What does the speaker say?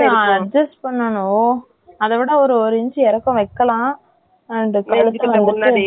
அதை விட ஒரு inch இறக்கம் வச்சிகிட்டேன். நீதான் மேல இருந்து வச்சதான் வயிறு தெரியாலனு சொன்னியா, அதுனாலதான் கேட்டேன் இவ்ளோ detail ல.